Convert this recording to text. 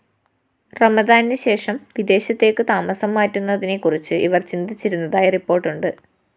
റമദാനിന് ശേഷം വിദേശത്തേക്കു താമസം മാറുന്നതിനെക്കുറിച്ച് ഇവര്‍ ചിന്തിച്ചിരുന്നതായി റിപ്പോര്‍ട്ടുണ്ട്